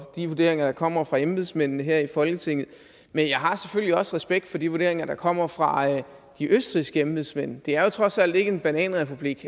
de vurderinger der kommer fra embedsmændene her i folketinget men jeg har selvfølgelig også respekt for de vurderinger der kommer fra de østrigske embedsmænd det er jo trods alt ikke en bananrepublik